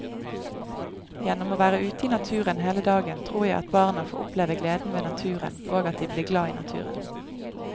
Gjennom å være ute i naturen hele dagen tror jeg at barna får oppleve gleden ved naturen og at de blir glad i naturen.